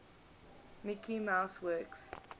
mickey mouse works